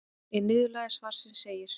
Í niðurlagi svarsins segir: